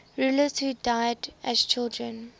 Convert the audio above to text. rulers who died as children